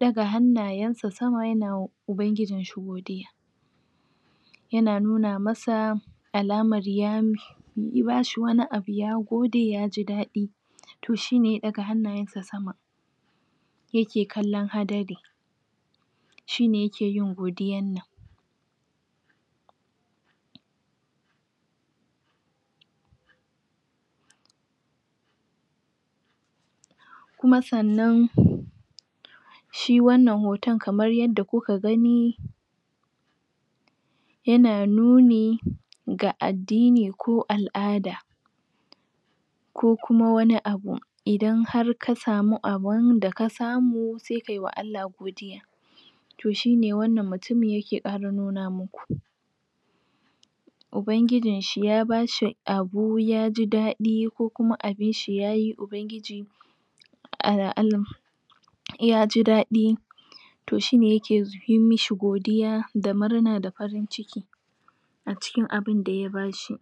daga hannayensa sama yana wa ubangijinshi yana nuna masa alamar ya bi bashi wani abu ya gode ya ji dadi to shine ya daga hannayensa sama yake kallon hadari shine yake yin godiyannan kuma sannan shi wannan hoton kamar yadda kuke gani yana nuni ga addini ko alada ko kuma wani abu idan har kasamu abinda kasamu sai kayi wa Allah godiya hine wannan mutumin yake kara nuna muku ku ubangijinshi ya bashi abu ya ji dadi ko kuma abinshi yayi ubangiji Allahu alam ya ji dadi to shine yake yimishi godiya da murna da farin ciki acikin abinda yabashi